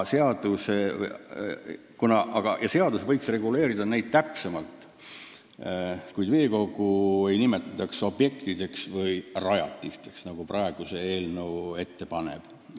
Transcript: Seadus võiks neisse puutuvat täpsemalt reguleerida, aga veekogu ei nimetataks objektiks või rajatiseks, nagu eelnõu ette paneb.